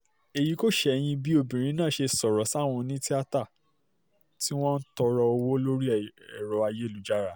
èyí kò ṣẹ̀yìn bí obìnrin náà ṣe sọ̀rọ̀ sáwọn onítìata tí wọ́n ń tọrọ owó lórí ẹ̀rọ ayélujára